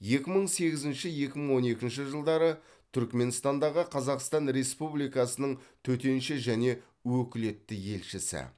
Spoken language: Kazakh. екі мың сегізінші екі мың он екінші жылдары түрікменстандағы қазақстан республикасының төтенше және өкілетті елшісі